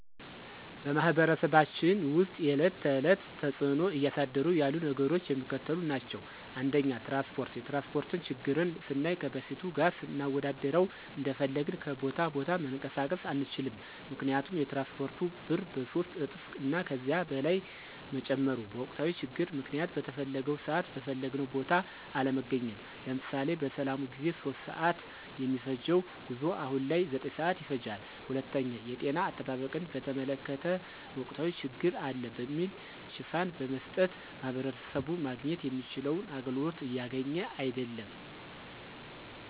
በማህበረሰባችን ውስጥ የዕለት ተዕለት ተፅዕኖ እያሳደሩ ያሉ ነገሮች የሚከተሉት ናቸው። ፩) ትራንስፓርት፦ የትራንስፓርት ችግርን ስናይ ከበፊቱ ጋር ስናወዳድረው እንደፈለግን ከቦታ ቦታ መንቀሳቀስ አንችልም ምክንያቱም የትራንስፓርቱ ብር በሶስት እጥፍ እና ከዚያ በላይ መጨመሩ፤ በወቅታዊ ችግር ምክንያት በተፈለገው ስዓት በፈለግንው ቦታ አለመገኘት። ለምሳሌ፦ በሰላሙ ጊዜ 3:00 ስዓት የሚፈጅው ጉዞ አሁን ላይ 9:00 ስዓት ይፈጃል። ፪) የጤና አጠባበቅን በተመለከተ ወቅታዊ ችግር አለ በሚል ሽፋን በመስጠት ማህበረሰቡ ማግኘት የሚችለውን አገልግሎት እያገኘ አይድለም።